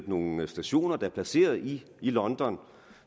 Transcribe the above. nogle stationer der er placeret i i london og